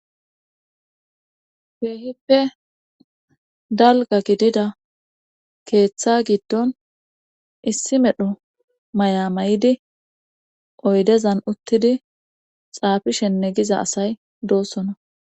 Keehippe dalga gidida keeththa giddon issi medho maya may7idi oydezan uttidi xaafishenne giza asay doossona